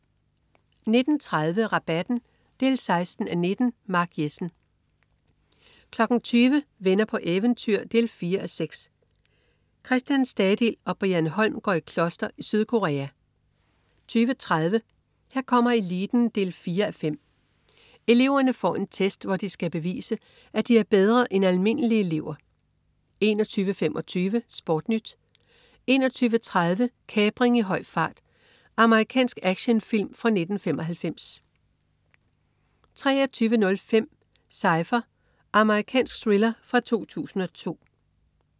19.30 Rabatten 16:19. Mark Jessen 20.00 Venner på eventyr 4:6. Christian Stadil og Brian Holm går i kloster i Sydkorea 20.30 Her kommer eliten 4:5. Eleverne får en test, hvor de skal bevise, at de er bedre end almindelige elever 21.25 SportNyt 21.30 Kapring i høj fart. Amerikansk actionfilm fra 1995 23.05 Cypher. Amerikansk thriller fra 2002